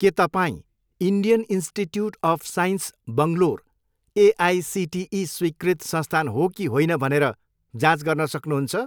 के तपाईँँ Indian Institute of Science Bangalore AICTE स्वीकृत संस्थान हो कि होइन भनेर जाँच गर्न सक्नुहुन्छ?